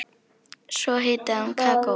Svo hitaði hún kakó.